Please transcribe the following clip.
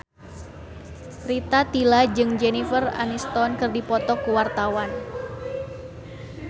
Rita Tila jeung Jennifer Aniston keur dipoto ku wartawan